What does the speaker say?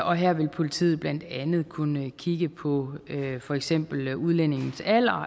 og her vil politiet blandt andet kunne kigge på for eksempel udlændingens alder og